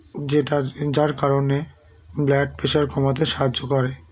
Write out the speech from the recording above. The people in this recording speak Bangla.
যেটার যার কারণে Blood pressure কমাতে সাহায্য করে